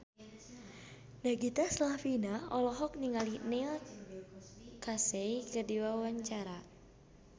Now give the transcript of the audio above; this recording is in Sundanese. Nagita Slavina olohok ningali Neil Casey keur diwawancara